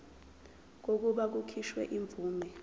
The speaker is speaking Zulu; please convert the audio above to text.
kokuba kukhishwe imvume